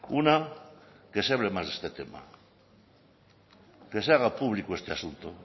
una que se hable más de este tema que se haga público este asunto